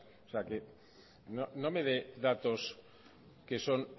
o sea que no me de datos que son